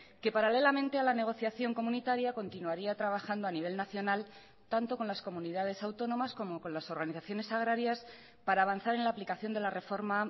que paralelamente a la negociación comunitaria continuaría trabajando a nivel nacional tanto con las comunidades autónomas como con las organizaciones agrarias para avanzar en la aplicación de la reforma